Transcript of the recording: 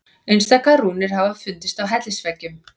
Einstaka rúnir hafa fundist á hellisveggjum.